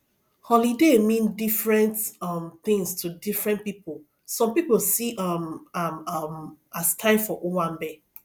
holiday mean different um things to different pipo some pipo see um am um as time for owambe